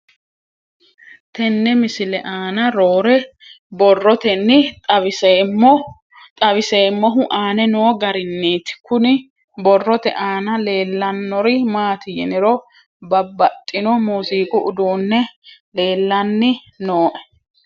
Tenne misile aana noore borroteni xawiseemohu aane noo gariniiti. Kunni borrote aana leelanori maati yiniro babbaxinno muziqu uduuni leelanni nooe.